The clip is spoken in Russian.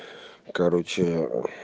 короче ээ мм